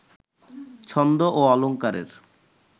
ছন্দ ও অলংকারের